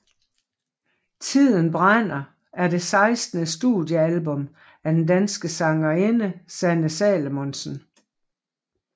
Tiden brænder er det sekstende studiealbum af den danske sangerinde Sanne Salomonsen